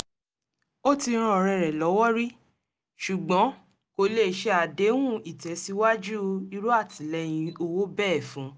ó ti ran ọ̀rẹ́ rẹ̀ lọ́wọ́ rí ṣùgbọ́n kò lè ṣe àdéhùn ìtẹ̀síwájú irú àtìlẹ́yìn owó bẹ́ẹ̀ fun